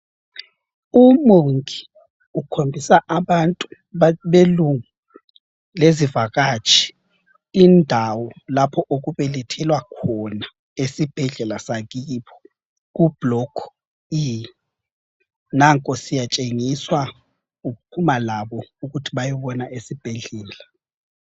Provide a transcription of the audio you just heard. Umongi ukhombisa abantu belungu lezivakatshi indawo lapho okubelethelwa khona esibhedlela sakibo ku blokhu E. Nanko siyatshengiswa uphuma labo ukuthi bayebona esibhedlela.